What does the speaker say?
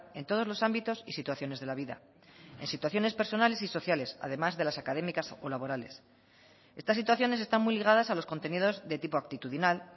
en todos los ámbitos y situaciones de la vida en situaciones personales y sociales además de las académicas o laborales estas situaciones están muy ligadas a los contenidos de tipo actitudinal